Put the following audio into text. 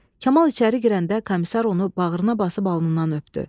Kamal içəri girəndə komissar onu bağrına basıb alnından öpdü.